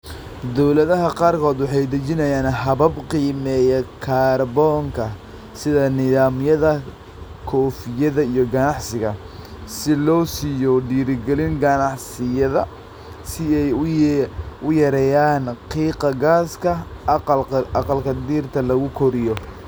Dawladaha qaarkood waxay dejiyaan habab qiimeeya kaarboonka, sida nidaamyada koofiyadda iyo ganacsiga, si loo siiyo dhiirigelin ganacsiyada si ay u yareeyaan qiiqa gaaska aqalka dhirta lagu koriyo